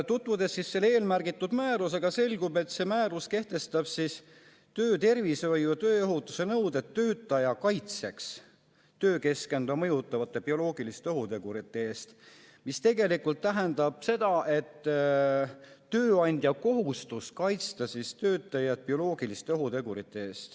Tutvudes selle määrusega, selgub, et see määrus kehtestab töötervishoiu ja tööohutuse nõuded töötaja kaitseks töökeskkonda mõjutavate bioloogiliste ohutegurite eest, mis tegelikult tähendab seda, et tööandjal on kohustus kaitsta töötajaid bioloogiliste ohutegurite eest.